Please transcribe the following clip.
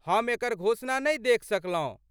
हम एकर घोषणा नहि देखि सकलहुँ।